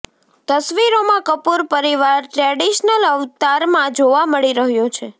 તસવીરોમાં કપૂર પરિવાર ટ્રેડિશનલ અવતારમાં જોવા મળી રહ્યો છે